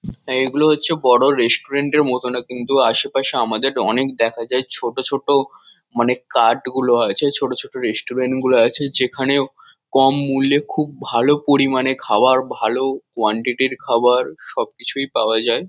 এইগুলো হচ্ছে বড়ো রেস্টুরেন্ট এর মতো না কিন্তু আশেপাশে আমাদের অনেক দেখা যায়। ছোট ছোট মানে কার্ট গুলো আছে ছোট ছোট রেসটুরেন্ট গুলো আছে যেখানেও কম মূল্যে খুব ভালো পরিমানে খাওয়ার ভালো কোয়ান্টিটি র খাবার সবকিছুই পাওয়া যায়।